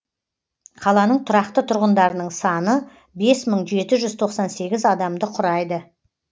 қаланың тұрақты тұрғындарының саны бес мың жеті жүз тоқсан сегіз адамды құрайды